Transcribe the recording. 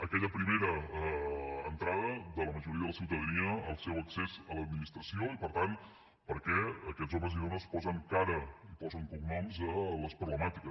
aquella primera entrada de la majoria de la ciutadania el seu accés a l’administració i per tant per què aquests homes i dones posen cara i posen cognoms a les problemàtiques